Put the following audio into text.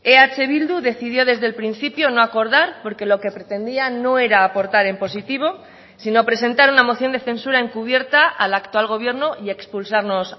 eh bildu decidió desde el principio no acordar porque lo que pretendía no era aportar en positivo sino presentar una moción de censura encubierta al actual gobierno y expulsarnos